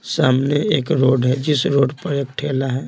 सामने एक रोड है जिस रोड पर एक ठेला है।